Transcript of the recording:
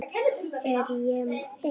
Ég er einn.